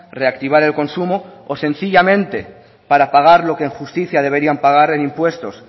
reactivar el consumo o sencillamente para pagar lo que en justicia deberían pagar en impuestos